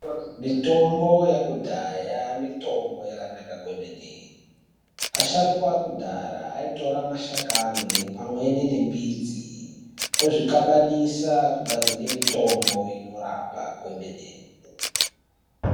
Mitombo yakudhaya mitombo yakanaka kwemene asharuka okudhaya aitora mashakani pamweni nemidzi ezvincabanisa kugadzire mitombo inorapa kwemene.